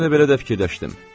Mən elə belə də fikirləşdim.